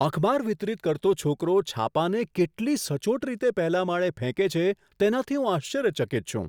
અખબાર વિતરિત કરતો છોકરો છાપાંને કેટલી સચોટ રીતે પહેલા માળે ફેંકે છે તેનાથી હું આશ્ચર્યચકિત છું.